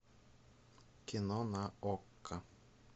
кино на окко